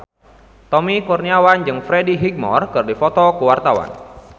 Tommy Kurniawan jeung Freddie Highmore keur dipoto ku wartawan